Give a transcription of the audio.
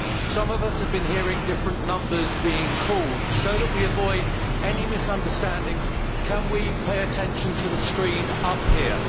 Some of us have been hearing different numbers being called. So that we avoid any misunderstandings, can we pay attention to the screen up here?